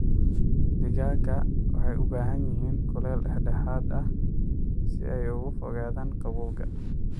Digaaga waxay u baahan yihiin kuleel dhexdhexaad ah si ay uga fogaadaan qabowga.